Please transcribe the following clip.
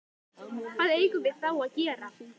Hvað eigum við þá að gera?